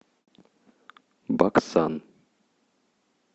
баксан